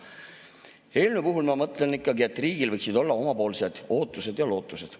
Selle eelnõu puhul ma mõtlen, et riigil võiksid olla ka omapoolsed ootused ja lootused.